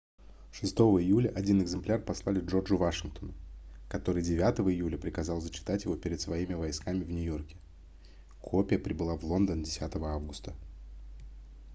6 июля один экземпляр послали джорджу вашингтону который 9 июля приказал зачитать его перед своими войсками в нью-йорке копия прибыла в лондон 10 августа